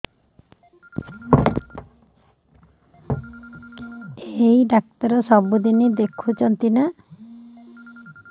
ଏଇ ଡ଼ାକ୍ତର ସବୁଦିନେ ଦେଖୁଛନ୍ତି ନା